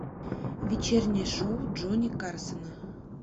вечернее шоу джонни карсона